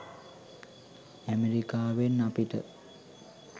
ඇමරිකාවෙන් අපිට